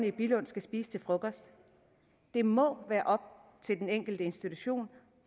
i billund skal spise til frokost det må være op til den enkelte institution